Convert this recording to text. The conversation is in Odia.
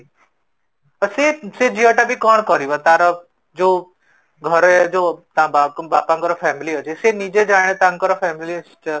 ତ ସେ ସେ ଝିଅଟା ବି କଣ କରିବ ତାର ଯୋଉ ଘରେ ଯୋଉ ବାପାଙ୍କର family ଅଛି ସେ ନିଜେ ଜଣେ ତାଙ୍କର family